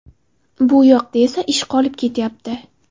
Bu yoqda esa ish qolib ketyapti”.